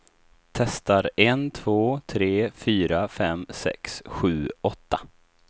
Testar en två tre fyra fem sex sju åtta.